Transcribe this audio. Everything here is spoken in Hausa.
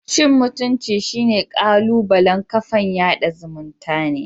Cin mutumcin shine kalubalen kafan yada zumuntane.